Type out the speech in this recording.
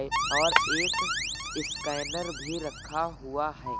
ए और एक स्कैनर भी रखा हुआ है।